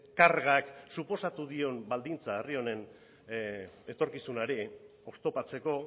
kargak suposatu dion baldintza herri honen etorkizunari oztopatzeko